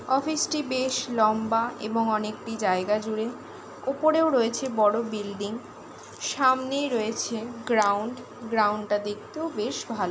Office -টি বেশ লম্বা এবং অনেকটি জায়গা জুড়ে ওপরেও রয়েছে বড় বিল্ডিং সামনেই রয়েছে গ্রাউন্ড গ্রাউন্ড -টা দেখতেও বেশ ভালো ।